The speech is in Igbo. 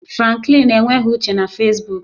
Franklin enweghị uche na Fesbuk